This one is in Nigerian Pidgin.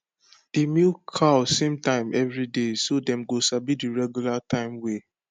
dey milk cow same time every day so dem go sabi the regular time way